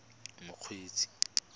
mokgweetsi